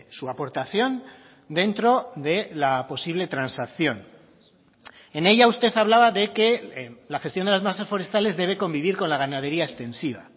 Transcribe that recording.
su aportación dentro de la posible transacción en ella usted hablaba de que la gestión de las masas forestales debe convivir con la ganadería extensiva